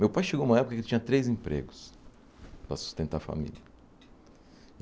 Meu pai chegou numa época que tinha três empregos para sustentar a família.